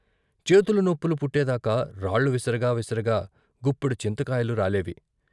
చేతులు నొప్పులు పుట్టేదాకా రాళ్ళు విసరగా విసరగా గుప్పెడు చింతకాయలు రాలేవి.